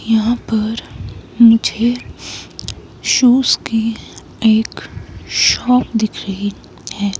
यहाँ पर मुझे शूज की एक शॉप दिख रही है।